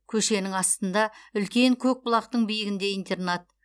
көшенің астында үлкен көкбұлақтың биігінде интернат